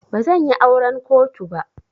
Bazan yi auran kotu ba.